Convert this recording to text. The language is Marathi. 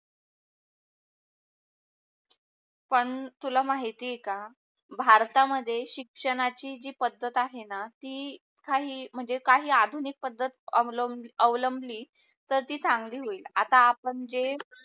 पण तुला माहिती आहे का, भारता मध्ये शिक्षणाची जी पद्धत आहे णा ती काही म्हणजे काही आधुनिक पद्धत अवलंबली तर ती चांगली होईल आता आपण जे